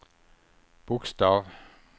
bokstav